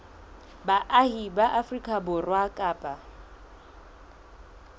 baahi ba afrika borwa kapa